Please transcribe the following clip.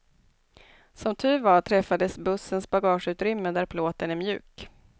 Som tur var träffade bussens bagageutrymme där plåten är mjuk.